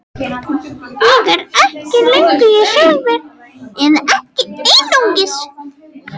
Ég er ekki lengur ég sjálfur, eða ekki einungis.